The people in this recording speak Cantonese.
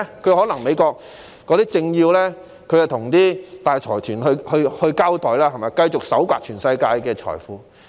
可能美國有政要要向大財團交代，因此他們繼續從全球搜刮財富。